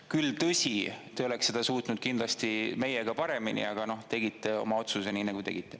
Küll, tõsi, te oleks seda suutnud kindlasti meiega paremini, aga noh, tegite oma otsuse nii, nagu tegite.